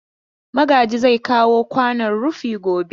Magaji zai kawo kwanon rufi gobe.